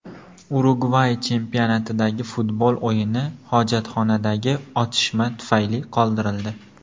Urugvay chempionatidagi futbol o‘yini hojatxonadagi otishma tufayli qoldirildi.